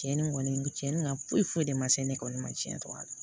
Cɛni kɔni cɛnni ka foyi foyi de ma se ne kɔni ma tiɲɛ tɔgɔ la